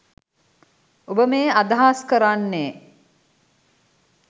ඔබ මේ අදහස් කරන්නේ